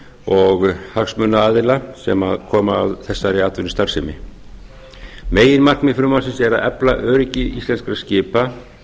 og hagsmunaaðila sem komu að þessari atvinnustarfsemi meginatriði frumvarpsins er að efla öryggi íslenskra skipa